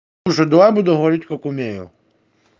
слушай давай я буду говорить как умею